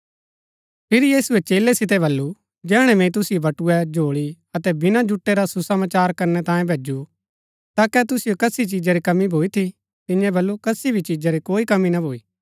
फिरी यीशुऐ चेलै सितै बल्लू जैहणै मैंई तुसिओ बटुए झोल्ळी अतै बिना जुटै रा सुसमाचार करनै तांयें भैजु थू ता कै तुसिओ कसकी चिजा री कमी भूई थी तियें बल्लू कसी भी चिजा री कोई कमी ना भूई